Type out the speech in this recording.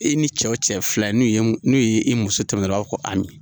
I ni cɛ o cɛ ye filan ye n'i ye n'u ye i muso tɛmɛtɔ ye u b'a fɔ ko Ami.